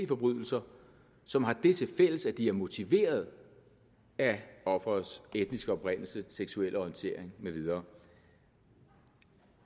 forbrydelser som har det tilfælles at de er motiveret af offerets etniske oprindelse seksuelle orientering med videre